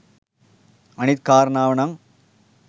අනිත් කාරණාව නම්